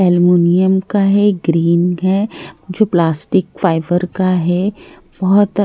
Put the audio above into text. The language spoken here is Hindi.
ऐलमूनियम का है ग्रीन है जो प्लास्टिक फाइबर का है बोहोत--